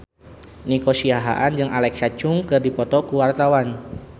Nico Siahaan jeung Alexa Chung keur dipoto ku wartawan